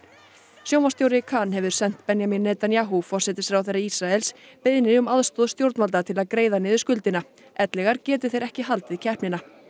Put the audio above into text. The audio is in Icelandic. sjónvarpsstjóri kan hefur sent Benjamin Netanyahu forsætisráðherra Ísraels beiðni um aðstoð stjórnvalda til að greiða niður skuldina ellegar geti þeir ekki haldið keppnina